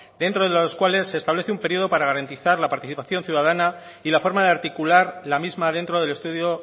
dentro de los cuales se establece un periodo para garantizar la participación ciudadana y la forma de articular la misma dentro del estudio